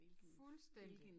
Fuldstændig